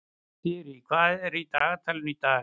Þyrí, hvað er í dagatalinu í dag?